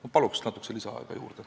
Ma palun natuke lisaaega!